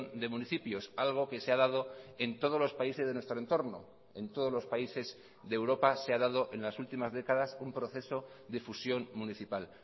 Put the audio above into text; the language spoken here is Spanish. de municipios algo que se ha dado en todos los países de nuestro entorno en todos los países de europa se ha dado en las últimas décadas un proceso de fusión municipal